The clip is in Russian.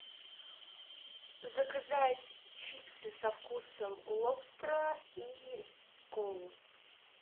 заказать чипсы со вкусом лобстера и колу